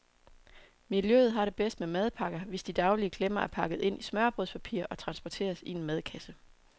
Miljøet har det bedst med madpakker, hvis de daglige klemmer er pakket ind i smørrebrødspapir og transporteres i en madkasse.